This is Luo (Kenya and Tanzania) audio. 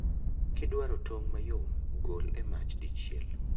Kidwaro tong' mayom, gol e mach dichiel